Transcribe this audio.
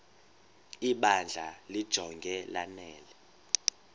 ibandla limjonge lanele